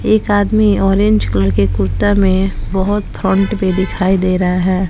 एक आदमी orange colour के कुर्ता में बहोत फ्रोंट भी दिखाई दे रहा है।